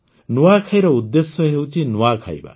ନୂଆଖାଇର ଉଦ୍ଦେଶ୍ୟ ହେଉଛି ନୂଆ ଖାଇବା